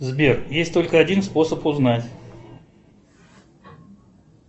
сбер есть только один способ узнать